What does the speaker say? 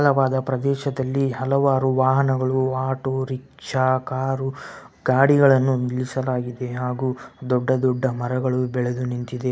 ಪ್ರದೇಶದಲ್ಲಿ ಹಲವಾರು ವಾಹನಗಳು ಆಟೋ ರಿಕ್ಷಾ ಕಾರು ಗಾಡಿಗಳನ್ನು ನಿಲ್ಲಿಸಲಾಗಿದೆ ಹಾಗು ದೊಡ್ಡ ದೊಡ್ಡ ಮರಗಳು ಬೆಳೆದು ನಿನ್ ತಿದೆ.